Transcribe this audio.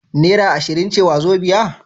Naira ashirin ce wazobia?